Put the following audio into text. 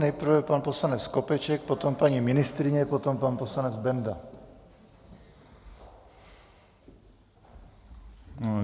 Nejprve pan poslanec Skopeček, potom paní ministryně, potom pan poslanec Benda.